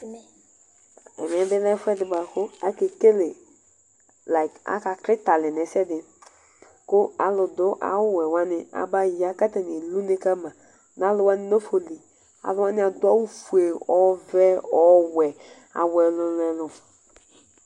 Ɛmɛbi lɛ ɛfʋɛdi bʋakʋ akekele layk akaklitɛ alɛ nʋ ɛsɛdi kʋ alʋdʋ awʋwɛ wani abaya ka atani eli une kama nʋ alʋ wani nafɔli alʋ wani adʋ awʋfue ɔvɛ ɔwɛ awʋ ɛlʋ ɛlʋ ɛlʋ